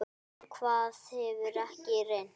Á hvað hefur ekki reynt?